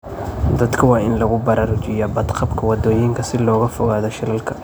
Dadka waa in lagu baraarujiyaa badqabka waddooyinka si looga fogaado shilalka.